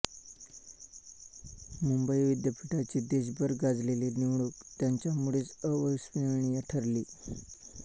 मुंबई विद्यापीठाची देशभर गाजलेली निवडणूक त्यांच्यामुळेच अविस्मरणीय ठरली